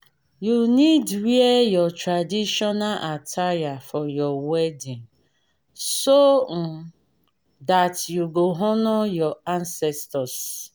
you need wear your traditional attire for your wedding so um that you go honour your ancestors